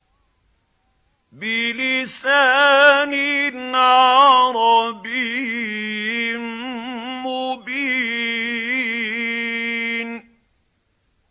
بِلِسَانٍ عَرَبِيٍّ مُّبِينٍ